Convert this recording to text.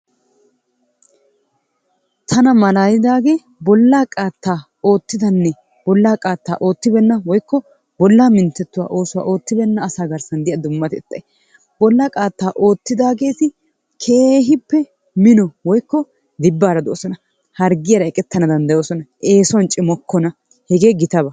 Tana malaalidaagee bollaa qaattaa oottidanne bollaa qaatta ottibeenna woykko bollaa minttetuwaa oottibeena asaa garssaan diya dumatettay bollaa qaattaa oottidaageetti keehiippe mino woykko dibbaara doosona. Harggiyara eqqetana danddayoosona, eessuwan cimokkona hegee gitabaa.